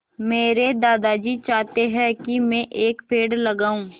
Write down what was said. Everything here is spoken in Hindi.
मेरे दादाजी चाहते हैँ की मै एक पेड़ लगाऊ